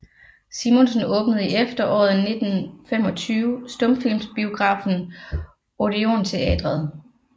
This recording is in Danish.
Simonsen åbnede i efteråret 1925 stumfilmsbiografen Odeon Teatret